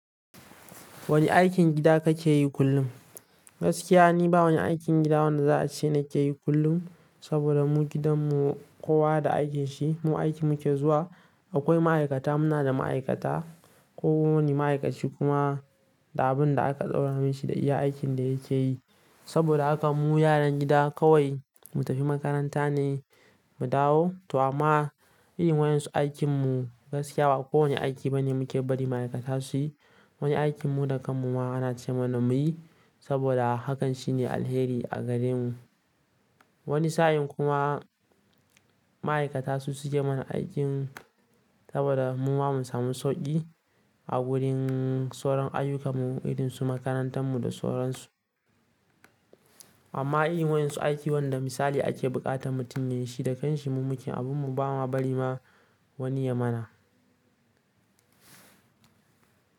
Wani aikin gida kake yi kullum? Gaskiya ni ba wani aikin gida wanda za a ce na ke yi kullum, saboda mu gidanmu kowa da aikin shi. Mu aiki muke zuwa. Akwai ma'aikata, muna da ma'aikata. Kowane ma'aikaci kuma da abin da aka tsara mashi da iya aikin da yake yi. Saboda haka mu yaran gida kawai mu tafi makaranta ne mu dawo. To amma yin wa'yansu aikinmu gaskiya ba kowane aiki bane muke bari ma'aikata su yi. Wani aikin mu da kanmu ma a ana ce mana mu yi, saboda hakan shi ne alkhairi a gare mu. Wani sa'in kuma ma'aikata su suke mana aikin saboda mu ma mu samu sauƙi a wurin ssuran ayyukamu, irin su makarantarmu da sauransu. Amma yin wa yanzu aiki wanda misali ake buƙatan mutum ya yi shi da kanshi, mu mu ke yin abun mu ba ma bari ma wani ya mana.